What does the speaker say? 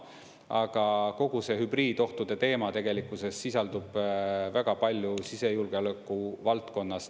Aga kogu see hübriidohtude teema tegelikkuses sisaldub väga palju sisejulgeoleku valdkonnas.